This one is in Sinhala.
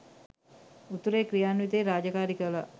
උතුරේ ක්‍රියාන්විතයේ රාජකාරි කළා.